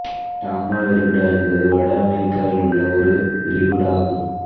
டாம்பா விரிகுடா என்பது வட அமெரிக்காவில் உள்ள ஒரு விரிகுடா ஆகும்